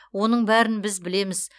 оның бәрін біз білеміз